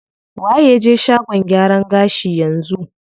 Waye ya je shagon gyaran gashi yanzu?